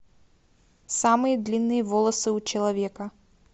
самые длинные волосы у человека